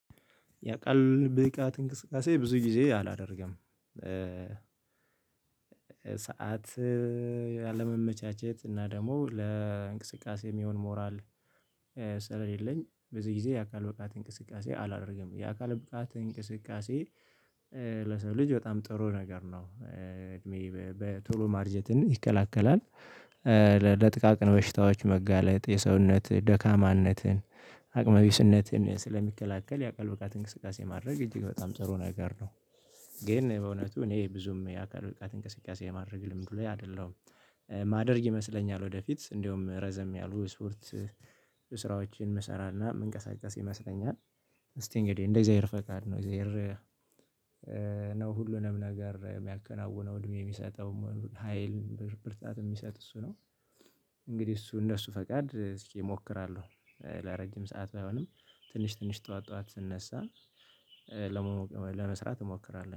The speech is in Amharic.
የአካል ብቃት እንቅስቃሴ ብዙ ጊዜ አላደርግም። ሰዓት ያለመመቻቸት እና ደግሞ ለእንቅስቃሴ የሚሆን ሞራል። ስለሌለኝ በዚህ ጊዜ የአካል ብቃት እንቅስቃሴ አላደርግም የአካል ብቃት እንቅስቃሴ። ለሰው ልጅ በጣም ጥሩ ነገር ነው እድሜ በቶሎ ማርጀት ይከላከላል። ለጥቃቅን በሽታዎች መጋለጥ የሰውነት ደካማነትን አቅመ ቢስነትን ስለሚከላከል የአካል ብቃት እንቅስቃሴ ማድረግ እጅግ በጣም ጥሩ ነገር ነው። ግን በእውነቱ እኔ ብዙም የአካል ብቃት እንቅስቃሴ ማድረግ ልምዱ ለይ አይደለሁም። ማደርግ ይመስለኛል ወደፊት እንደውም ረዘም ያሉ ስፖርት ስራዎችን የምሰራና የምንቀሳቀስ ይመስለኛል። እስቲ እንግዲህ እንደ እግዚአብሔር ፈቃድ ነው እግዚአብሔር ነው ሁሉንም ነገር የሚያከናውነው እድሜ የሚሰጠው ሀይል ብርታት የሚሰጥ እሱ ነው። እንግዲህ እሱ እንደሱ ፈቃድ እስኪ እሞክራለሁ። ለረጅም ሰዓት ባይሆንም ትንሽ ትንሽ ጠዋት ጠዋት ስነሳ ለመስራት እሞክራለሁ